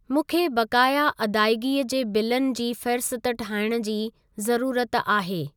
मूंखे बक़ाया अदाइगीअ जे बिलनि जी फ़ेहरिस्त ठाहिण जी ज़रूरत आहे।